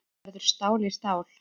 Verður stál í stál